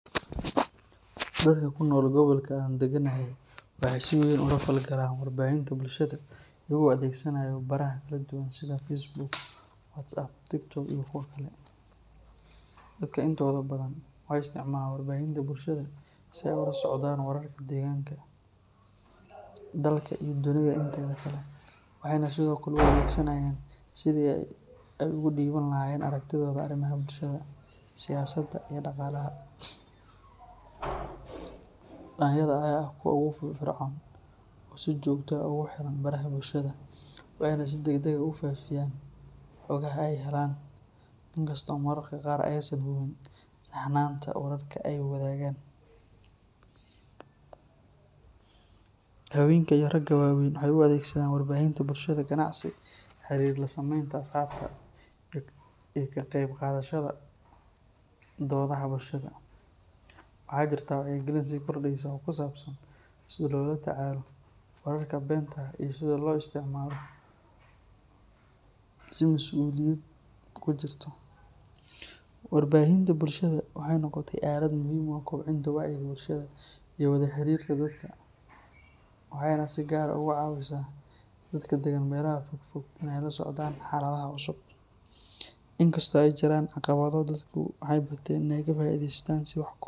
Dadka ku nool gobolka aan deganahay waxay si weyn ula falgalaan warbaahinta bulshada iyagoo adeegsanaya baraha kala duwan sida Facebook, WhatsApp, TikTok iyo kuwa kale. Dadka intooda badan waxay isticmaalaan warbaahinta bulshada si ay ula socdaan wararka deegaanka, dalka iyo dunida inteeda kale, waxayna sidoo kale u adeegsanayaan sidii ay ugu dhiiban lahaayeen aragtidooda arrimaha bulshada, siyaasadda, iyo dhaqaalaha. Dhalinyarada ayaa ah kuwa ugu firfircoon oo si joogto ah ugu xiran baraha bulshada, waxayna si degdeg ah u faafiyaan xogaha ay helaan, inkastoo mararka qaar aysan hubin saxnaanta wararka ay wadaagaan. Haweenka iyo ragga waaweyn waxay u adeegsadaan warbaahinta bulshada ganacsi, xiriir la sameynta asxaabta, iyo ka qayb qaadashada doodaha bulshada. Waxaa jirta wacyigelin sii kordhaysa oo ku saabsan sida loola tacaalo wararka beenta ah iyo sida loo isticmaalo si mas’uuliyadi ku jirto. Warbaahinta bulshada waxay noqotay aalad muhiim u ah kobcinta wacyiga bulshada iyo wada xiriirka dadka, waxayna si gaar ah uga caawisaa dadka degan meelaha fogfog inay la socdaan xaaladaha cusub. Inkastoo ay jiraan caqabado, dadku waxay barteen inay ka faa’iideystaan si wax ku ool ah.